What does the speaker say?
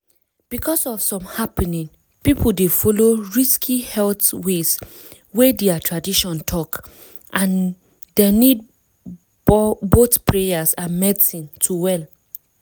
because of some happening people dey follow risky health ways wey their tradition talk and dem nid boyh prayers and medicine to well.